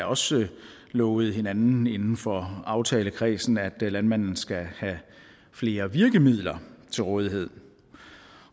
også lovet hinanden inden for aftalekredsen at landmændene skal have flere virkemidler til rådighed